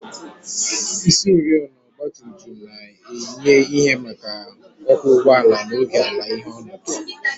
Isioriọna ọgba tum tum na-enye ìhè maka ọkwọ ụgbọala n'oge ala-ìhè ọnọdụ